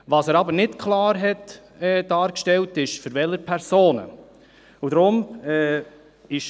Was er aber nicht klar dargestellt hat, ist, welche Personen er wählen will.